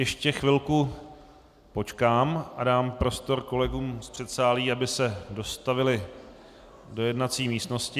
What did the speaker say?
Ještě chvilku počkám a dám prostor kolegům z předsálí, aby se dostavili do jednací místnosti.